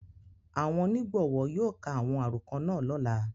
Awọn onigbọwọ yóò ka awọn arokọ naa lọla.